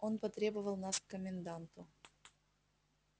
он потребовал нас к коменданту